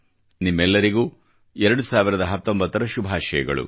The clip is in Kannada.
ನಿಮ್ಮೆಲ್ಲರಿಗೂ 2019 ರ ಶುಭಾಶಯಗಳು